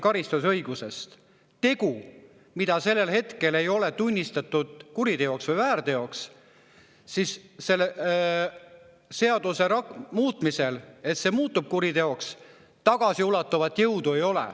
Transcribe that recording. Kui tegu, mida selle hetkel ei ole tunnistatud kuriteoks või väärteoks, muutub seaduse muutmisel kuriteoks, siis sel tagasiulatuvat jõudu ei ole.